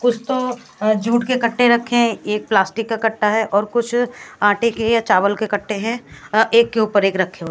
कुछ तो जूट के कट्टे रखे हैं एक प्लास्टिक का कट्टा है और कुछ आटे के या चावल के कट्टे है अ एक के ऊपर एक रखे --